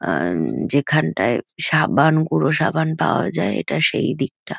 আআ যেখানটায় সাবান গুঁড়ো সাবান পাওয়া যায় এটা সেই দিকটা।